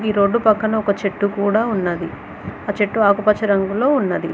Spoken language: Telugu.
రోడ్డు పక్కన ఒక చెట్టు కూడా ఉన్నది ఆ చెట్టు ఆకుపచ్చ రంగులో ఉన్నది.